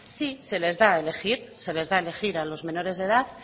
sí se las da a elegir se les da a elegir a los menores de edad